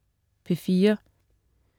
P4: